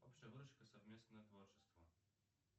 совместное творчество